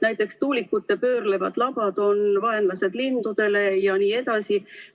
Näiteks on tuulikute pöörlevad labad vaenlased lindudele jne.